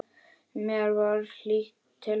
Mér var hlýtt til hans.